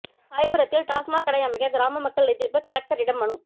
சாயர்புரத்தில் டாஸ்மாக் கடை அமைக்க கிராம மக்கள் எதிர்ப்பு கலெக்டரிடம் மனு